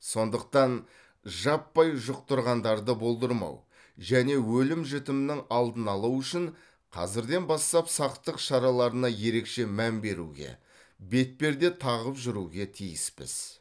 сондықтан жаппай жұқтырғандарды болдырмау және өлім жітімнің алдын алу үшін қазірден бастап сақтық шараларына ерекше мән беруге бетперде тағып жүруге тиіспіз